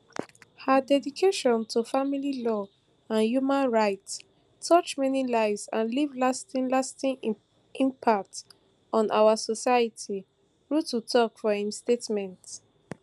her dedication to family law and human rights touch many lives and leave lasting lasting impact on our society ruto tok for im statement